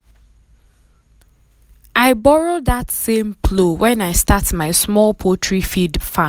i borrow that um same um plow when i start my small poultry feed farm.